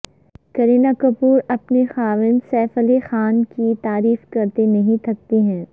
کرینہ کپور اپنے خاوند سیف علی خان کی تعریف کرتے نہیں تھکتی ہیں